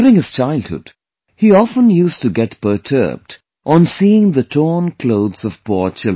During his childhood, he often used to getperturbedon seeing the torn clothes of poor children